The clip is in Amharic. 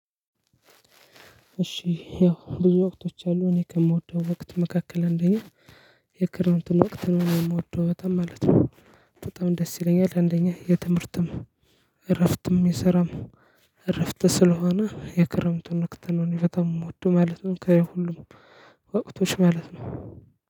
እሺ ያው ብዙ ወቅቶች አሉ እኔ ከምወደው ወቅት መካከል አንደኛ የክረምትን ወቅት ነው የምወደው በጣም ማለት ነው። በጣም ደስ ይለኛል አንደኛ የትምህርትም እረፍትም የሰራም እረፍት ስለሆነ የክረምቱን ወቅት ነው እኔ በጣም የምወደው ማለት ነው። ከየሁሉም ወቅቶች ማለት ነው